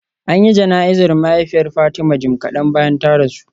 An yi jana'izar mahaifiyar Fatima jim kadan bayan ta rasu